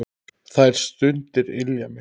Þær stundir ylja mér.